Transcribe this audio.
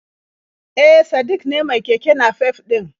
E, Sadik ne mai keke nafef ɗin